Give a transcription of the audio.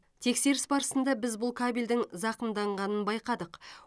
тексеріс барысында біз бұл кабельдің зақымданғанын байқадық